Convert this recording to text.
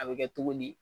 A bɛ kɛ togo di